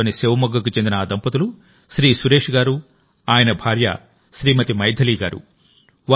కర్ణాటకలోని శివమొగ్గకు చెందిన ఆ దంపతులు శ్రీ సురేష్ గారు ఆయన భార్య శ్రీమతి మైథిలి గారు